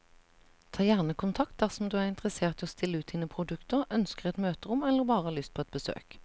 Ta gjerne kontakt dersom du er interessert i å stille ut dine produkter, ønsker et møterom eller bare har lyst på et besøk.